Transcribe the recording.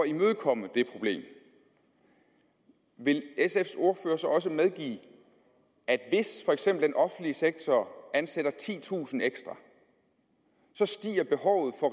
imødekomme det problem vil sfs ordfører så også medgive at hvis for eksempel den offentlige sektor ansætter titusind ekstra stiger behovet for